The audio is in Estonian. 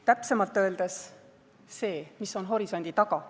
Täpsemalt öeldes see, mis on horisondi taga.